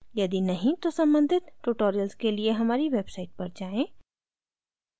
यदि नहीं तो सम्बंधित tutorials के लिए हमारी website पर जाएँ